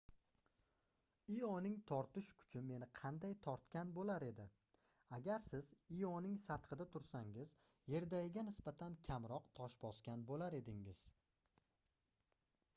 ioning tortish kuchi meni qanday tortgan boʻlar edi agar siz ioning sathida tursangiz yerdagiga nisbatan kamroq tosh bosgan boʻlar edingiz